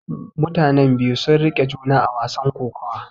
Mutanen biyu sun riƙe juna a wasan kokawa.